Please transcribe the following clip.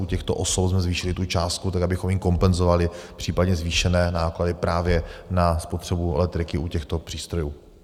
U těchto osob jsme zvýšili tu částku tak, abychom jim kompenzovali případně zvýšené náklady právě na spotřebu elektriky u těchto přístrojů.